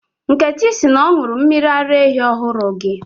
Nkechi sị na ọ ṅụrụ mmiri ara ehi ọhụrụ gị